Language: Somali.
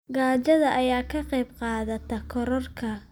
Gaajada ayaa ka qayb qaadata kororka cudurrada faafa.